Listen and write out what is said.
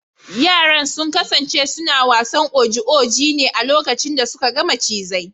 Yaran sun kasance suna wasan oji oji ne a lokacin da suka ga macizai.